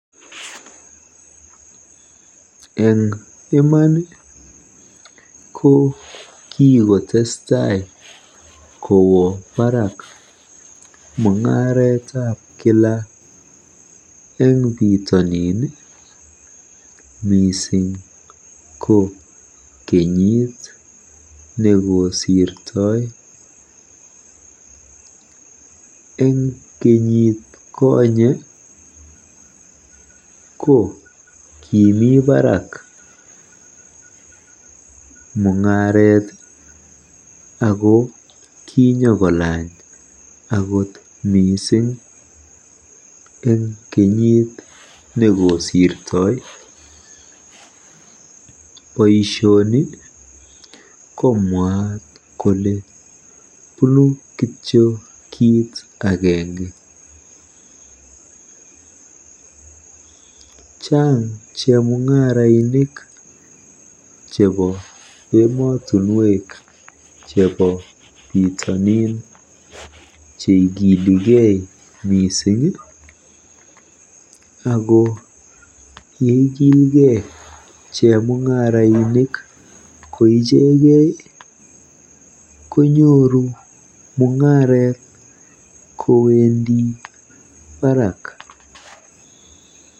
Eng iman ko kikotesstai kowo baraak mung'aretab kila eng bitonin mising ko kenyiit nekisirtoi. Eng kenyiit konye ko koomi baraak mung'aret ak kokolaany mising akot eng kenyiit negosirtoi. Boisioni ko mwaat kele bunu kito kit agenge .Chaang mising chemung'arainik chebo emotinwek chebo saang cheigilikei mising ako yeikilgei chemung'arainik koichegei konyoru mung'aret kowendi baraak.